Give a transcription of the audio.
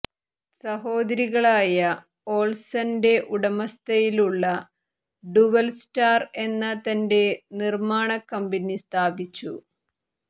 സഹോദരികളായ ഒൾസന്റെ ഉടമസ്ഥതയിലുള്ള ഡുവൽസ്റ്റാർ എന്ന തന്റെ നിർമ്മാണ കമ്പനി സ്ഥാപിച്ചു